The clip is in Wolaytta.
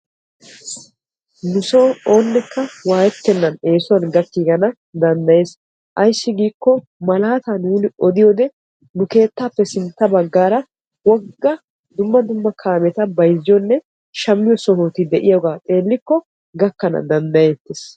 Nu soo oonekka wayettenan eesuwaan gakkiigana danddayees. ayssi giikko malaataa nuuni odiyoode nu keettaappe sintta baggaara wogga dumma dumma kaameta bayzziyoonne shammiyoo sohoti diyaagaa xeellikko gakkana dandayettees.